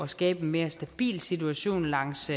skabe en mere stabil situation langs